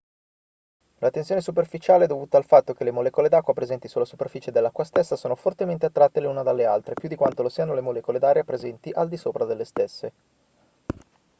la tensione superficiale è dovuta al fatto che le molecole d'acqua presenti sulla superficie dell'acqua stessa sono fortemente attratte le una dalle altre più di quanto lo siano le molecole d'aria presenti al di sopra delle stesse